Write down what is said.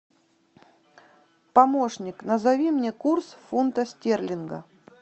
помощник назови мне курс фунта стерлинга